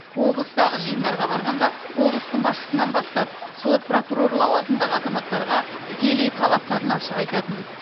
облыстағы жиындарға барғанда облыстың басшысынан бастап сот прокурор лауазымындағы азаматтарға тікелей талаптарын ашық айтатын